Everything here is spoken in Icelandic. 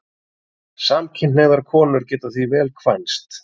Samkynhneigðar konur geta því vel kvænst.